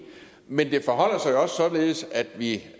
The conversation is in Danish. men det forholder sig jo også således at vi